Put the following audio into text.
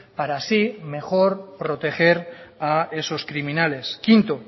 para así mejor proteger a esos criminales quinto